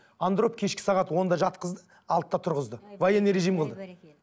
андропов кешкі сағат онда жатқызды алтыда тұрғызды военный режим қылды